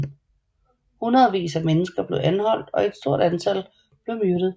Hundredvis af mennesker blev anholdt og et stort antal blev myrdet